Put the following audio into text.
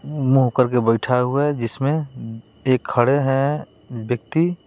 मुंह करके बैठा हुआ है जिसमें एक खड़े हैं व्यक्ति।